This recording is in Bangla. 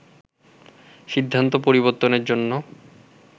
সিদ্ধান্ত পরিবর্তনের জন্য